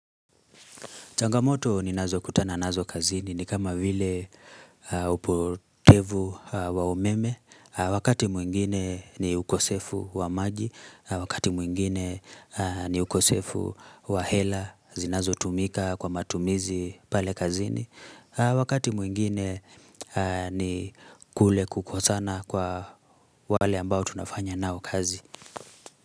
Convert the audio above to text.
Changamoto ni nazo kutana nazo kazini ni kama vile upotevu wa umeme. Wakati mwingine ni ukosefu wa maji, wakati mwingine ni ukosefu wa hela, zinazo tumika kwa matumizi pale kazini. Wakati mwingine ni kule kukosana kwa wale ambao tunafanya nao kazi.